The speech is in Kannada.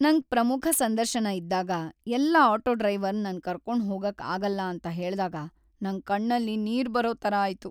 ನಂಗ್ ಪ್ರಮುಖ ಸಂದರ್ಶನ ಇದ್ದಾಗ ಎಲ್ಲ ಆಟೋ ಡ್ರೈವರ್ ನನ್ ಕರ್ಕೊಂಡ್ ಹೋಗಕ್ ಆಗಲ್ಲ ಅಂತ ಹೇಳ್ದಾಗ ನಂಗ್ ಕಣ್ಣಲ್ಲಿ ನೀರ್ ಬರೋ ತರ ಆಯ್ತು.